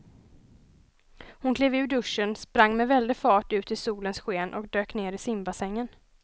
Hon klev ur duschen, sprang med väldig fart ut i solens sken och dök ner i simbassängen.